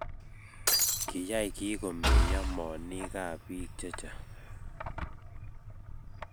kiyai kii komeyo moonikab biik che chang'